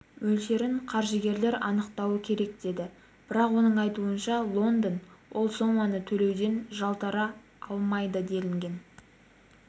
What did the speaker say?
мөлшерін қаржыгерлер анықтауы керек деді бірақ оның айтуынша лондон ол соманы төлеуден жалтара алмайды делінген